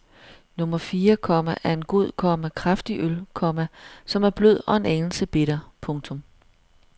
Nummer fire, komma er en god, komma kraftig øl, komma som er blød og en anelse bitter. punktum